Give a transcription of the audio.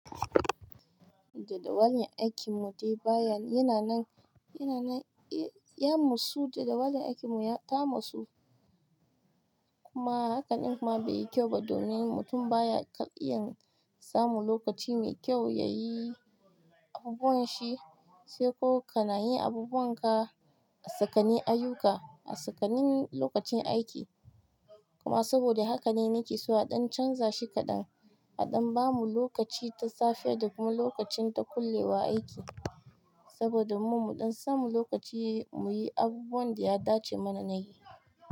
Da wannan aikin mu dai baya yana nan, yana nan ya musu da dawan aikin mu ya ta masu. Kuma hakan kuma bai yi kyau ba domin mutum baya iya samun lokaci mai kyau ya yi abubuwan shi, sai ko ka na yi abubuwan ka a tsakani ayyuka, a tsakanin lokacin aiki. Kuma saboda haka ne nikeso a ɗan canzashi kaɗan, a ɗan bamu lokaci ta safe da kuma lokacin ta kullewa aiki. Saboda mu, mu ɗan samu lokaci muyi abubuwan da ya dace mana na yi.